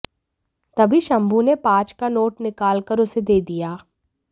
तभी शंभू ने पांच का नोट निकाल कर उसे दे दिया